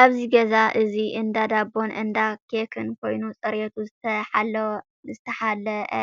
ኣብዚ ገዛ እዚ አንዳ ዳቦን እንዳ ኬኽ ኮይኑ ፅሬቱ ዝተሓለኣ